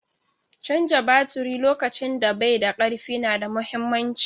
Canja baturi lokacin da bai da karfi na da mahimmanci.